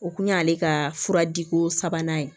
O kun y'ale ka fura di ko sabanan ye